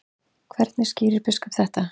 Hvernig skýrir biskup þetta?